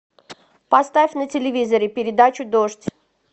поставь на телевизоре передачу дождь